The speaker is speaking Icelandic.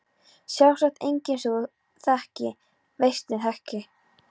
Sjálfsagt engin sem þú ekki veist nú þegar.